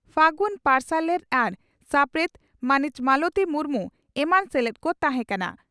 ᱯᱷᱟᱹᱜᱩᱱ ᱯᱟᱨᱥᱟᱞᱮᱛ ᱟᱨ ᱥᱟᱯᱲᱮᱛ ᱢᱟᱹᱱᱤᱡ ᱢᱟᱞᱚᱛᱤ ᱢᱩᱨᱢᱩ ᱮᱢᱟᱱ ᱥᱮᱞᱮᱫ ᱠᱚ ᱛᱟᱦᱮᱸ ᱠᱟᱱᱟ ᱾